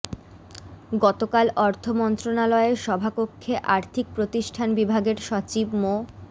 গতকাল অর্থ মন্ত্রণালয়ের সভাকক্ষে আর্থিক প্রতিষ্ঠান বিভাগের সচিব মো